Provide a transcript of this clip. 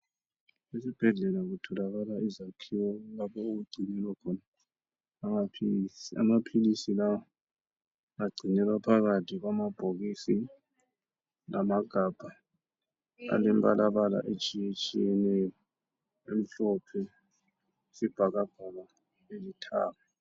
Esibhedlela kutholakala izakhiwo lapho okugcinelwa khona amaphilisi. Amaphilisi la agconelwa phakathi kwamabhokisi lamagabha alemibala etshiyeneyo, amhlophe, ayisibhakabhaka lalithanga.